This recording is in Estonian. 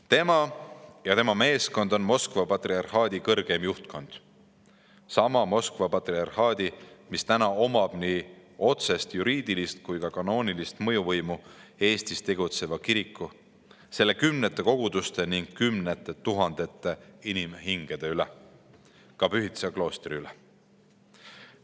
Patriarh Kirill ja tema meeskond on Moskva patriarhaadi kõrgem juhtkond – sama Moskva patriarhaadi, mis omab nii otsest juriidilist kui ka kanoonilist mõjuvõimu Eestis tegutseva kiriku, selle kümnete koguduste ning kümnete tuhandete inimhingede üle, ka Pühtitsa kloostri üle.